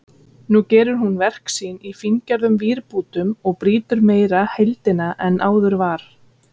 Nú gerir hún verk sín í fíngerðum vírbútum og brýtur meira heildina en áður var.